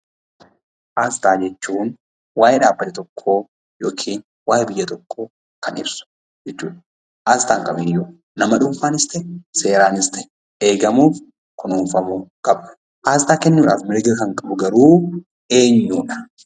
Asxaa jechuun waa'ee dhaabbata tokkoo yokiin waa'ee biyya tokkoo kan ibsu jechuudha. Asxaan kamiyyuu nama dhuunfaanis ta'e seeraanis ta'e eegamuuf kunuunfamuu qaba. Aasxaa kennuudhaaf mirga kan qabu garuu eenyuudha?